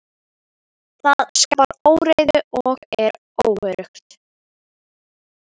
Það skapar óreiðu og er óöruggt.